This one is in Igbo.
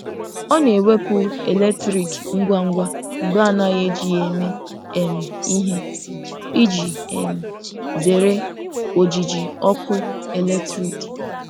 Ọ na-ewepụ eletriki ngwa ngwa mgbe a naghị eji ya eme um ihe iji um zere ojiji ọkụ eletrik.